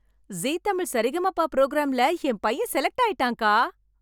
ஜீ தமிழ் சரிகமப ப்ரோகிராம்ல என் பையன் செலக்ட் ஆயிட்டான் அக்கா.